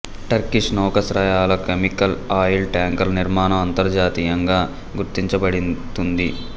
Turkish నౌకాశ్రయాలు chemical oil టాంకర్ల నిర్మాణం అంతర్జాతీయంగా గుర్తించబడుతుంది